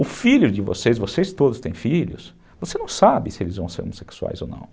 O filho de vocês, vocês todos têm filhos, você não sabe se eles vão ser homossexuais ou não.